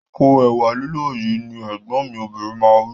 Po ẹ̀wà lílọ̀ yìí! Ní Ẹ̀gbọ́n mi obìnrin máa wí